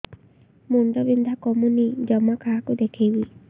ମୁଣ୍ଡ ବିନ୍ଧା କମୁନି ଜମା କାହାକୁ ଦେଖେଇବି